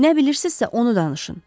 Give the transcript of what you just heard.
Nə bilirsizsə onu danışın.